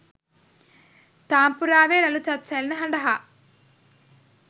තාම්පූරාවේ රළු තත් සැලෙන හඬ හා